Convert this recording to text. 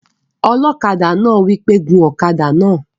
Ọlọ́kadà náà wí pé "gun ọ̀kadà náà!"